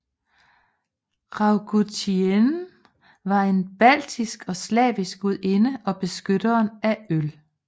Raugutiene var en baltisk og slavisk gudinde og beskytteren af øl